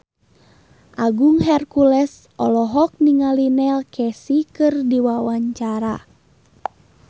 Agung Hercules olohok ningali Neil Casey keur diwawancara